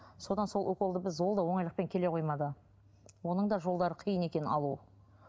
содан сол уколды біз ол да оңайлықпен келе қоймады оның да жолдары қиын екен алу